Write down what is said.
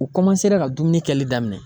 U ka dumuni kɛli daminɛ.